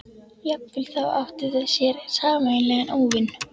Jafnvel þá áttu þau sér sameiginlegan óvin.